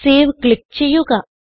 save click ചെയ്യുക